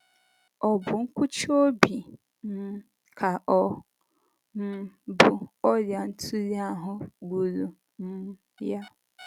Ọ̀ bụ nkụchi obi um ka ọ̀ um bụ ọrịa ntụli ahụ gburu um ya?